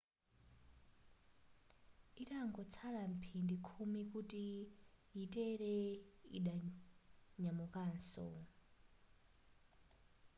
itangotsala mphindi khumi kuti yitere yidanyamukanso